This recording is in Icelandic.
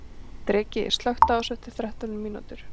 Dreki, slökktu á þessu eftir þrettán mínútur.